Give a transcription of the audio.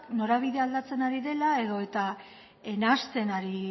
norabidea aldatzen ari dela edota nahasten ari